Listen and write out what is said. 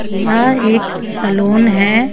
यह एक सलून है.